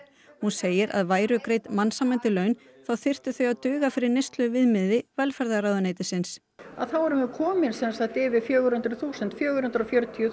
hún segir að væru greidd mannsæmandi laun þá þyrftu þau að duga fyrir neysluviðmiði velferðarráðuneytisins þá erum við komin sem sagt yfir fjögur hundruð þúsund þúsund fjögur hundruð og fjörutíu